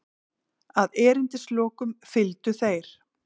Að erindislokum fylgdu þeir